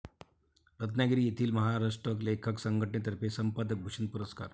रत्नागिरी येथील महाराष्ट्र लेखक संघटनेतर्फे 'संपादक भूषण' पुरस्कार.